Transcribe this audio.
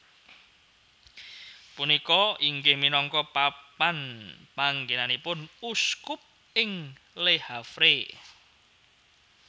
Punika inggih minangka papan panggenanipun uskup ing Le Havre